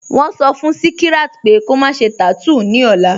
Wọ́n sọ́ fún Śíkíràt pẹ̀ kò má ṣè tátúún ni ọ̀là